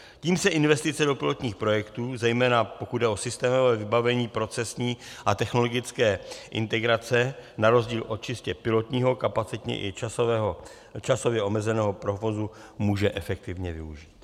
Tím se investice do pilotních projektů, zejména pokud jde o systémové vybavení procesní a technologické integrace na rozdíl od čistě pilotního, kapacitně i časově omezeného provozu, může efektivně využít.